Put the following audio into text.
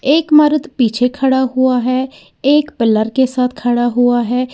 एक मर्द पीछे खड़ा हुआ है एक पिलर के साथ खड़ा हुआ है।